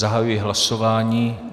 Zahajuji hlasování.